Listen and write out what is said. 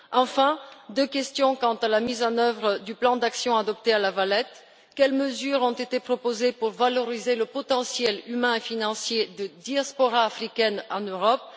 Enfin, deux questions quant à la mise en œuvre du plan d'action adopté à La Valette quelles mesures ont été proposées pour valoriser le potentiel humain et financier de la diaspora africaine en Europe?